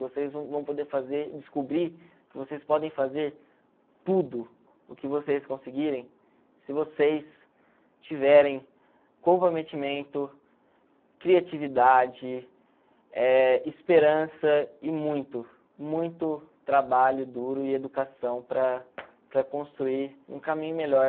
Vocês vão poder fazer descobrir que vocês podem fazer tudo o que vocês conseguirem se vocês tiverem comprometimento, criatividade, eh esperança e muito, muito trabalho duro e educação para para construir um caminho melhor